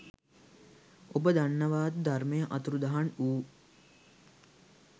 ඔබ දන්නවද ධර්මය අතුරුදහන් වූ